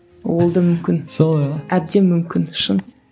ол да мүмкін әбден мүмкін шын